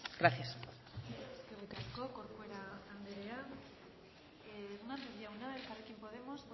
gracias eskerrik asko corcuera anderea hernández jauna elkarrekin podemos